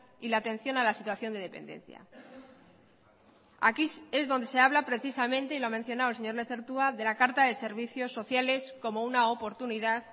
y la atención a la situación de dependencia aquí es donde se habla precisamente y lo ha mencionado el señor lezertua de la carta de servicios sociales como una oportunidad